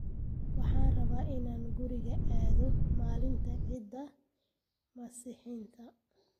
Waxaan rabaa inaan guriga aado maalinta cida masixinta